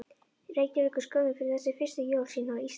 Reykjavíkur skömmu fyrir þessi fyrstu jól sín á Íslandi.